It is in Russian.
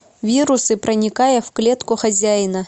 вирусы проникая в клетку хозяина